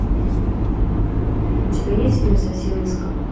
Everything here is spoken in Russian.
у тебя есть фильм совсем низко